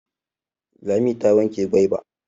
Lami ta yanke gwaiba.